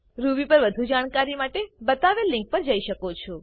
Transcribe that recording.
Ruby પર વધુ જાણકારી માટે બતાવેલ લીંક પર જી શકો છો